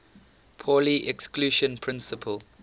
pauli exclusion principle